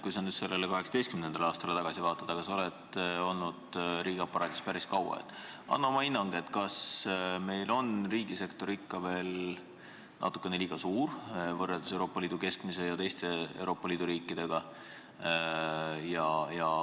Kui sa nüüd sellele 2018. aastale tagasi vaatad, siis anna palun oma hinnang, kas meil on riigisektor ikka veel natukene liiga suur võrreldes Euroopa Liidu keskmisega ja teiste Euroopa Liidu riikidega.